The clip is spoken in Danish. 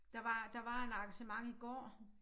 Der var der var et arrangement i går